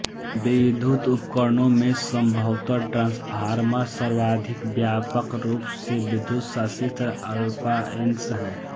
विद्युत उपकरणों में सम्भवतः ट्रान्सफार्मर सर्वाधिक व्यापक रूप से प्रयुक्त विद्युत साषित्र अप्लाएन्स है